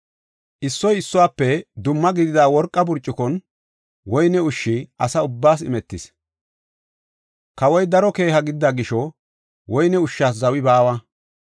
Issoy issuwafe dumma gidida worqa burcukon woyne ushshi asa ubbaas imetis. Kawoy daro keeha gidida gisho, woyne ushshas zawi baawa.